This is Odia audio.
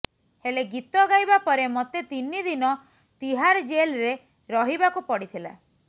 ହେଲେ ଗୀତ ଗାଇବା ପରେ ମୋତେ ତିନି ଦିନ ତିହାର ଜେଲ୍ରେ ରହିବାକୁ ପଡ଼ିଥିଲା